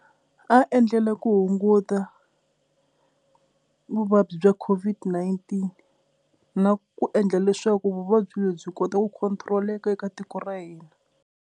A endlela ku hunguta vuvabyi bya COVID-19 na ku endla leswaku vuvabyi lebyi kota ku control-eka eka tiko ra hina.